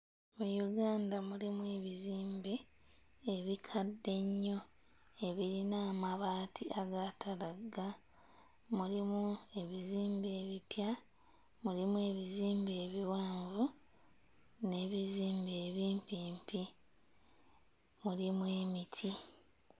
Mu Uganda mulimu bizimbe ebikadde ennyo ebirina amabaati agaatalagga, mulimu ebizimbe ebipya, mulimu ebizimbe ebiwanvu n'ebizibe ebimpimpi; mulimu emiti.